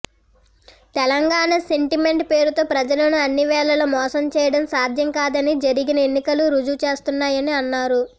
Telangana sentiment పేరుతో ప్రజలను అన్ని వేళల మోసం చేయడం సాధ్యం కాదని జరిగిన ఎన్నికలు రుజువు చేస్తున్నాయని అన్నారు